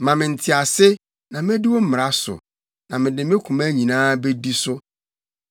Ma me ntease, na medi wo mmara so, na mede me koma nyinaa bedi so.